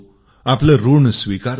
आपले ऋण स्वीकारतो